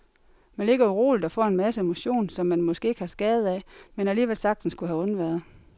Man ligger uroligt og får en masse motion, som man måske ikke har skade af, men alligevel sagtens kunne have undværet.